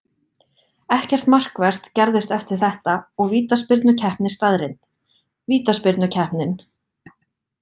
Ekkert markvert gerðist eftir þetta og vítaspyrnukeppni staðreynd. Vítaspyrnukeppnin: